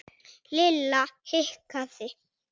Lilla hikaði.